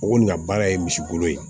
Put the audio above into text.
O kɔni ka baara ye misi golo ye